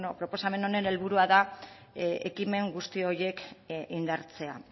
proposamen honen helburua da ekimen guzti horiek indartzea